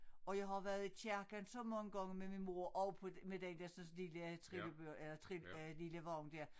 Og jeg har været i kirken så mange gange med min mor og på med den dersens lille trillebør eller trille øh lille vogn dér